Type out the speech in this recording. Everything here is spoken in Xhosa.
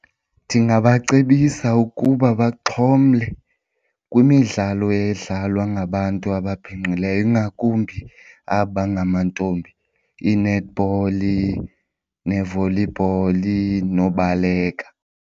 Ndingabacebisa ukuba baxhomle kwimidlalo edlalwa ngabantu ababhinqileyo ingakumbi aba bangamantombi, ii-netball nee-volleyball nobaleka.